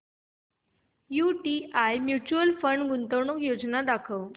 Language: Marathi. यूटीआय म्यूचुअल फंड गुंतवणूक योजना दाखव